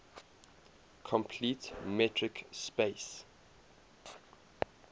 complete metric space